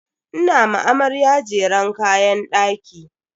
Ina ma amarya jeren kayan daki.